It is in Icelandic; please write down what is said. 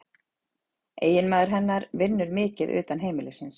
Eiginmaður hennar vinnur mikið utan heimilisins